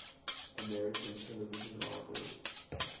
american television writers